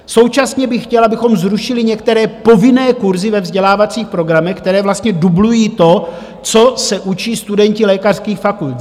Současně bych chtěl, abychom zrušili některé povinné kurzy ve vzdělávacích programech, které vlastně dublují to, co se učí studenti lékařských fakult.